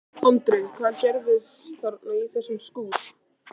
Andri: Hvað gerðist þarna í þessum skúr?